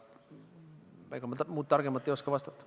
Ega ma muud targemat ei oska vastata.